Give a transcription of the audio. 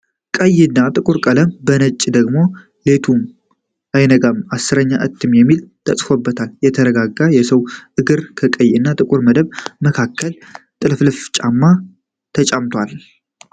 ቀይ እና ጥቁር ቀለማት በነጭ ደግሞ "ሌቱም አይነጋልኝ 10ኛ እትም" የሚል ተፅፎበታል። የተዘረጋ የሰዉ እግር ከቀይ እና ጥቁሩ መደብ መካከል ጥልፍልፍ ጫማ ተጫምቷል።